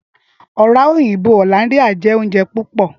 Ọra oyinbo Hollanda jẹ ounjẹ pupọ.